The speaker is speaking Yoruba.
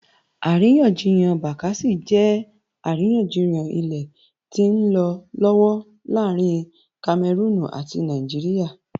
Àríyànjiyàn Bakassi jẹ́ àríyànjiyàn ilẹ̀ tí ń lọ lọ́wọ́ láàrin Kamẹrúùnù ati Nàìjíríà